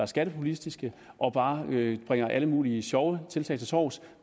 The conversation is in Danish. skattepopulistisk og bare bringer alle mulige sjove tiltag til torvs